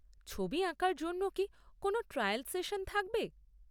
ছবি আঁকার জন্য কি কোনও ট্রায়াল সেশন থাকবে?